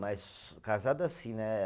Mas casado assim, né?